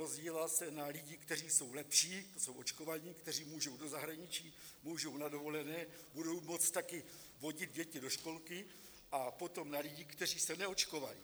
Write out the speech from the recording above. Rozdělila se na lidi, kteří jsou lepší, ti jsou očkovaní, kteří můžou do zahraničí, můžou na dovolené, budou moct taky vodit děti do školky, a potom na lidi, kteří se neočkovali.